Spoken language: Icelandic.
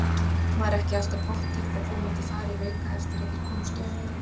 Var ekki alltaf pottþétt að þú myndir fara í Hauka eftir að þeir komust upp?